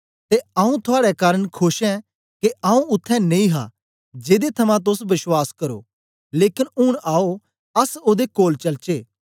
ते आऊँ थुआड़े कारन खोश ऐं के आऊँ उत्थें नेई हा जेदे थमां तोस बश्वास करो लेकन ऊन आओ अस ओदे कोल चलचे